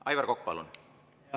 Aivar Kokk, palun!